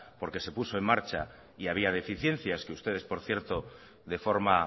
porque se puso en marcha y había deficiencias que ustedes por cierto de forma